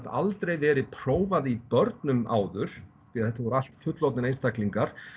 aldrei verið prófað í börnum áður því þetta voru allt fullorðnir einstaklingar